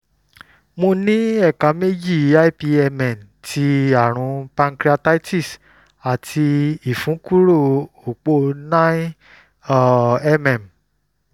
mo ní ẹ̀ka méjì ipmn ti àrùn pancreatitis àti ìfúnkúrò òpó 9 um mm